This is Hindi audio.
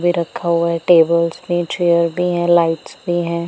भी रखा हुआ है टेबल्स भी हैं चेयर भी हैं लाइट्स भी हैं।